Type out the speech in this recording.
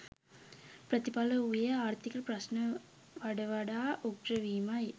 ප්‍රතිඵලය වූයේ ආර්ථික ප්‍රශ්න වඩ වඩා උග්‍ර වීමයි